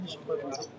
Hə, düşüb.